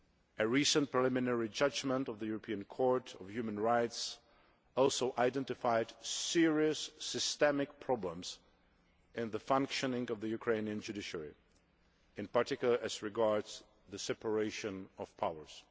A recent preliminary judgement of the European Court of Human Rights also identified serious systemic problems in the functioning of the Ukrainian judiciary, in particular as regards the separation of powers.